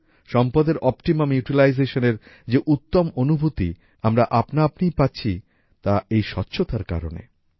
সম্পদের অপ্টিমাম utilizationএর যে উত্তম অনুভূতি আমরা আপনা আপনিই পাচ্ছি তা এই স্বচ্ছতার কারণে